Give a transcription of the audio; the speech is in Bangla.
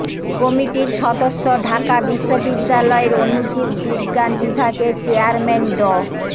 কমিটির সদস্য ঢাকা বিশ্ববিদ্যালয়ের অণুজীব বিজ্ঞান বিভাগের চেয়ারম্যান ড